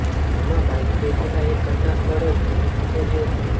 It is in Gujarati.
જેમાં બાઈકમાં બેઠેલા એકનું ઘટનાસ્થળે જ મોત નીપજ્યું હતું